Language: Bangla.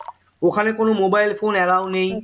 ওখানে কোন mobile phone allow নেই